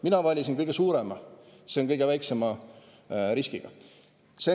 Mina valisin kõige suurema, see on kõige väiksema riskiga.